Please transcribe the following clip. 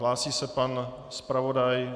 Hlásí se pan zpravodaj.